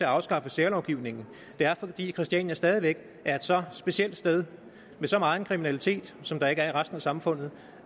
afskaffe særlovgivningen det er fordi christiania stadig væk er et så specielt sted med så megen kriminalitet som der ikke er i resten af samfundet